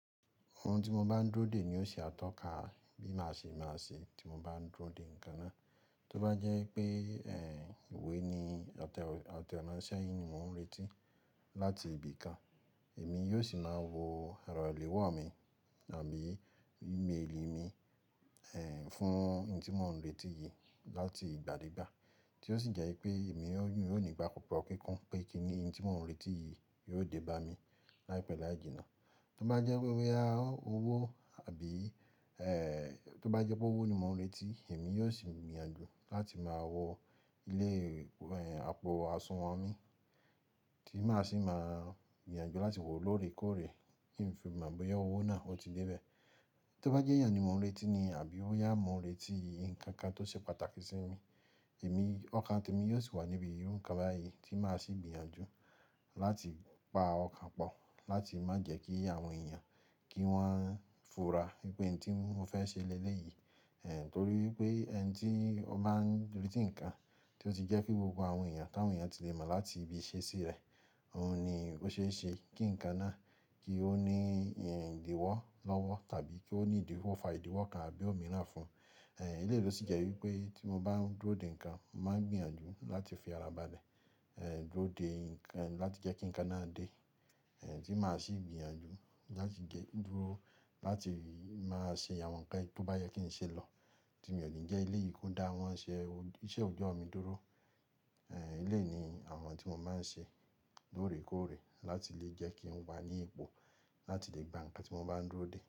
Ohun tí mọ bá ń dúró dè ni ó ṣe atọ́ka bí màá ṣe máa ṣe tí mọ bá dúró dè nǹkan náà. Tí ó bá jẹ́ pé ìwé ni àtẹ àtẹransẹ ni mò ń retí láti ibì kan, èmi yóò sì máa wo ẹrọ ìléwọ́ mi àbí ìmelì mi, fún oun tí mò ń retí yìí láti ìgbàdégbà. Tí ó sì jẹ́ wípé èmi yóò nígbàgbo kíkún pé kí nii tí mò ń retí yìí yóò dé bá mi láìpẹ́ lááji náà. Tí ó bá jẹ́ wípé boya owó àbí, tí ó bá jẹ́ pé owó ni mò ń retí, èmi yóò sì gbìyànjú láti máa wọ ilé, àpò àsùnwọ̀n mi tí màá sì máa gbìyànjú láti wò lóòrèkóòrè kí ń fi mọ̀ bóyá owó náà ó ti dé bẹ́ẹ̀. Tí ó bá jẹ́ èèyàn ni mò ń retí ni àbí bóyà mò ń retí, nǹkan kan tó ṣe pàtàkì sí mi, èmi ọkàn te mi yóò sì wà níbi irú nǹkan báyìí tí màá sì gbìyànjú láti pa ọkàn pọ̀ láti má jẹ́ kí àwọn èèyàn kí wọ́n fura pé ẹni tí mò fẹ́ ṣe lélẹ̀ yìí, torí pé ẹni tí ó máa ń retí nǹkan tí ó ti jẹ́ pé gbogbo àwọn èèyàn ká àwọn èèyàn tí lè mọ̀ láti ibi ìṣesí rẹ̀, òun ni ó ṣe é ṣe kí nǹkan náà kí ó ní ìdíwọ́ lọ́wọ́ tàbí kí ó ní ìdíwọ́ fa ìdíwọ́ kan àbí òmíràn fún un. Eleyii ló sì jẹ́ wípé tí mo bá ń dúró dè nǹkan, mo màá n gbìyànjú láti fi ara ba lẹ, dúró dè nkan láti jẹ́ kí nǹkan náà dé, tí màá sì gbìyànjú láti jẹ́ dúró láti máa ṣe àwọn ǹkan tí ó bá yẹ kí ń ṣe lọ. Tí mi ò ní jẹ́ ele yìí kò dá awọ́n ṣe iṣẹ́ òjọ́ mi dúró. Eléyi ni àwọn tí mo máa ń ṣe lóòrèkóòrè láti lè jẹ́ kí n wà ní ipò láti lè gba ǹkan tí mo bá ń dúró dè.